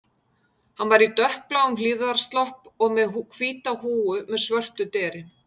Hann var í dökkbláum hlífðarslopp og með hvíta húfu með svörtu deri